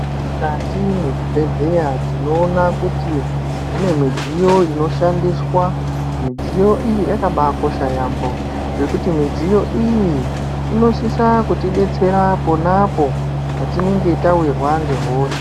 Mukati mezvibhedhlera tinoona kuti mune midziyo inoshandiswa midziyo iyi yakabakosha yambo nekuti midziyo iyi inosisa kutidetsera pona apo patinenge tawirwa ngehosha.